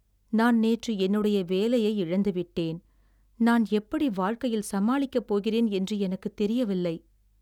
நான் நேற்று என்னுடைய வேலையை இழந்து விட்டேன், நான் எப்படி வாழ்க்கையில் சமாளிக்கப் போகிறேன் என்று எனக்குத் தெரியவில்லை.